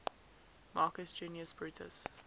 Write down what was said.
marcus junius brutus